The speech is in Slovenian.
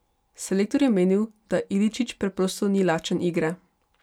Selektor je menil, da Iličić preprosto ni lačen igre.